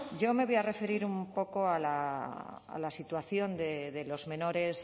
yo me voy a referir un poco a la situación de los menores